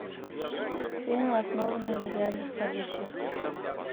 фильмы основанные на реальных событиях